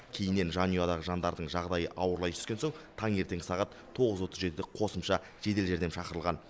кейіннен жанұядағы жандардың жағдайы ауырлай түскен соң таңертеңгі сағат тоғыз отыз жетіде қосымша жедел жәрдем шақырған